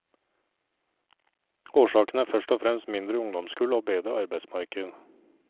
Årsaken er først og fremst mindre ungdomskull og bedre arbeidsmarked.